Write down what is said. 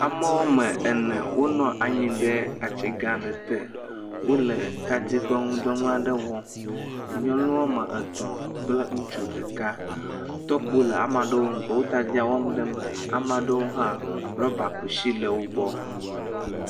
Ame woame ene wo nɔ anyi ɖe ati gã aɖe te wole tadi ƒe nuɖɔwɔnu aɖe wɔm, nyɔnu woame etɔ̃ kple ŋutsu ɖeka tɔkpo le ame aɖewo gbɔ wole tadi wɔm ɖe eme, eye rɔba kusi le ame aɖewo gbɔ.